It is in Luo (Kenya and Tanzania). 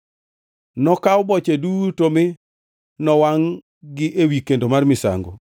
Nokaw boche duto mi nowangʼ-gi ewi kendo mar misango,